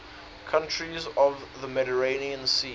countries of the mediterranean sea